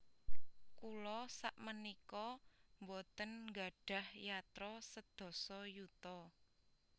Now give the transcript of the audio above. Kula sakmenika mboten nggadhah yatra sedasa yuta